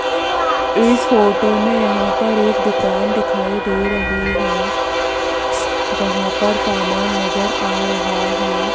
इस फोटो में यहां पर एक दुकान दिखाई दे रही है जहां पर सामान नजर आ रहा है।